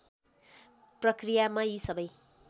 प्रक्रियामा यी सबै